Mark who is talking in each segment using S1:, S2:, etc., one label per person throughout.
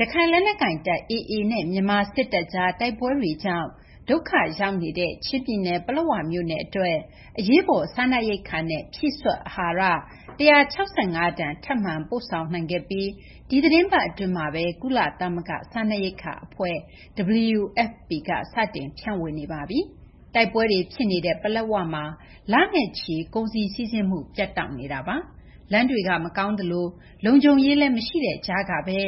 S1: ရခိုင်လက်နက်ကိုင်တပ် AA နဲ့ မြန်မာ စစ်တပ်ကြား တိုက်ပွဲတွေကြောင့် ဒုက္ခရောက်နေတဲ့ ချင်းပြည်နယ် ပလက်ဝမြို့နယ် အတွက် အရေးပေါ် စားနပ်ရိက္ခာနဲ့ ဖြည့်စွက် အဟာရ ၁၆၅ တန် ထပ်မံ ပို့ဆောင်နိုင်ခဲ့ပြီး ဒီသတင်းပတ် အတွင်းမှာဘဲ ကုလသမဂ္ဂ စားနပ်ရိက္ခာ အဖွဲ့ WFP က စတင် ဖြန့်ဝေနေပါပြီ။ တိုက်ပွဲတွေ ဖြစ်နေတဲ့ ပလက်ဝမှာ လနဲ့ချီ ကုန်စည်စီးဆင်းမှု ပြတ်တောက်နေတာပါ။ လမ်းတွေက မကောင်းသလို လုံခြုံရေးလည်း မရှိတဲ့ ကြားကဘဲ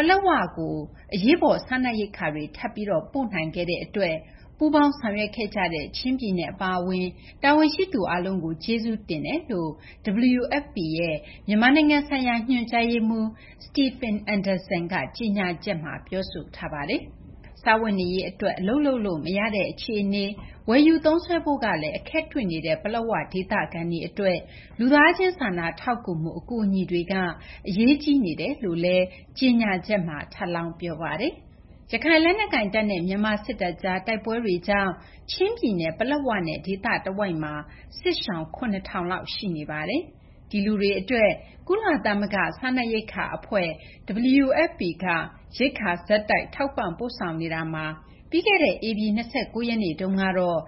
S1: ပလက်ဝမြို့ကို အရေးပေါ် စားနပ်ရိက္ခာတွေ ထပ်ပြီး ပို့နိုင်ခဲ့တဲ့ အတွက် ပူးပေါင်းဆောင်ရွက်ခဲ့ကြတဲ့ ချင်းပြည်နယ် အပါအဝင် တာဝန်ရှိသူ အားလုံးကို ကျေးဇူးတင်ကြောင်း WFP ရဲ့ မြန်မာနိုင်ငံဆိုင်ရာ ညွှန်ကြားရေးမှူး Stephen Anderson က ကြေညာချက်မှာ ပြောဆိုထားပါတယ်။ စားဝတ်နေရေး အတွက် အလုပ်လုပ်လို့ မရတဲ့ အခြေအနေ၊ ဝယ်ယူသုံးစွဲဖို့ကလည်း အခက်တွေ့နေတဲ့ ပလက်၀ ဒေသခံတွေ အတွက် လူသားချင်း စာနာထောက်ကူမှု အကူအညီတွေက အရေးကြီးနေတယ်လို့လည်း ကြေညာချက်မှာ ထပ်လောင်း ပြောပါတယ်။ ရခိုင်လက်နက်ကိုင်တပ်နဲ့ မြန်မာ စစ်တပ်ကြား တိုက်ပွဲတွေကြောင့် ချင်းပြည်နယ် ပလက်၀ နဲ့ ဒေသတဝိုက်မှာ စစ်ရှောင် ၇,၀၀၀ လောက် ရှိနေပါတယ်။ ဒီလူတွေ အတွက် ကုလသမဂ္ဂ စားနပ်ရိက္ခာ အဖွဲ့ WFP က ရိက္ခာ ဆက်တိုက် ထောက်ပံ့ ပို့ဆောင်ပေးနေတာမှာ ပြီးခဲ့တဲ့ ဧပြီ ၂၉ ရက်နေ့ကတော့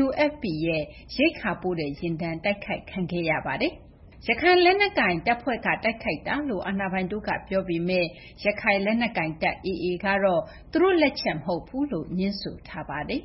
S1: WFP ရဲ့ ရိက္ခာပို့တဲ့ ယာဉ်တန်း တိုက်ခိုက်ခံခဲ့ရပါတယ်။ ရခိုင်လက်နက်ကိုင် တပ်ဖွဲ့က တိုက်ခိုက်တာလို့ အာဏာပိုင်တို့က ပြောပေမယ့် ရခိုင်လက်နက်ကိုင်တပ် AA ကတော့ သူတို့ တိုက်ခိုက်တာ မဟုတ်ဘူးလို့ ငြင်းဆိုထားပါတယ်